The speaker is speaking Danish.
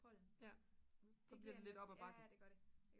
så bliver det lidt op ad bakke